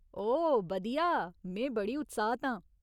ओह् बधिया, में बड़ी उत्साहत आं।